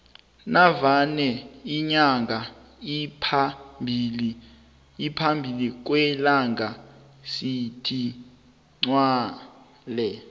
navane inyanga iphambi kwelanga sithi iqgwele